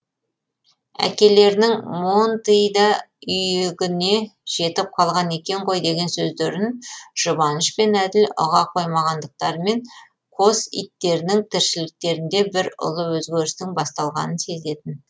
әкелерінің монтый да үйігіне жетіп қалған екен ғой деген сөздерін жұбаныш пен әділ ұға қоймағандықтарымен қос иттерінің тіршіліктерінде бір ұлы өзгерістің басталғанын сезетін